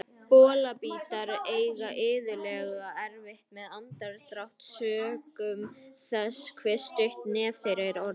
Bolabítar eiga iðulega erfitt með andardrátt sökum þess hve stutt nef þeirra er orðið.